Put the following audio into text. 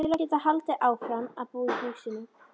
Til að geta haldið áfram að búa í húsinu.